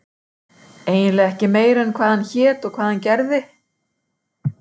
eiginlega ekki meira en hvað hann hét og hvað hann gerði.